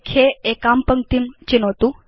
लेख्ये एकां पङ्क्तिं चिनोतु